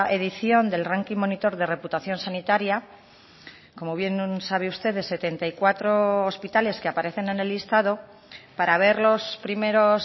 edición del ranking monitor de reputación sanitaria como bien sabe usted de setenta y cuatro hospitales que aparecen en el listado para ver los primeros